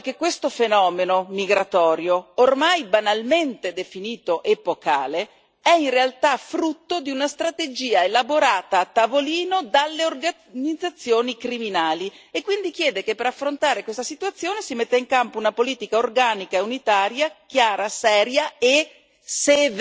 Aggiunge poi che questo fenomeno migratorio, ormai banalmente definito epocale, è in realtà frutto di una strategia elaborata a tavolino dalle organizzazioni criminali, e quindi chiede che per affrontare questa situazione si metta in campo una politica organica e unitaria, chiara, seria e